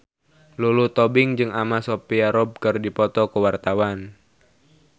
Lulu Tobing jeung Anna Sophia Robb keur dipoto ku wartawan